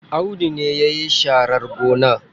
Audu ne yayi sharar gona.